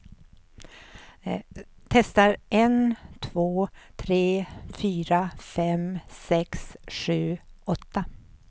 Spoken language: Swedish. Testar en två tre fyra fem sex sju åtta.